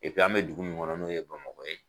an bɛ dugu min kɔnɔ n'o ye Bamakɔ ye